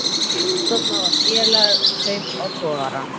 Stofnað var félag um kaup á togaranum